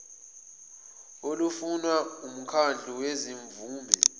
olufunwa wumkhandlu wezimvume